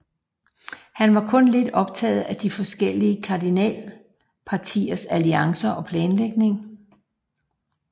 Han var kun lidt optaget af de forskellige kardinalpartiers alliancer og planlægning